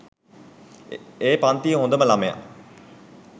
ඒ පන්තියේ හොඳම ළමයා.